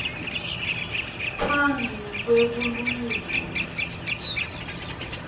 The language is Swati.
phambi kwe bulungisa